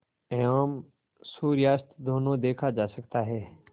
एवं सूर्यास्त दोनों देखा जा सकता है